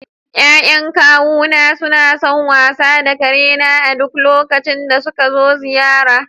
Ya'yan kawuna suna son wasa da karena a duk lokacin da suka zo ziyara.